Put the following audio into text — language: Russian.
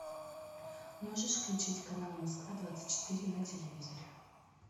можешь включить канал москва двадцать четыре на телевизоре